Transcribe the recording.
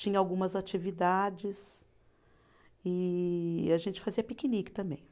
Tinha algumas atividades e a gente fazia piquenique também.